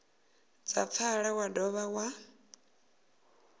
dza pfala wa dovha wa